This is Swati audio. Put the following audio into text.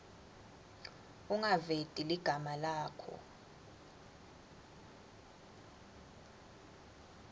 ungaveti ligama lakho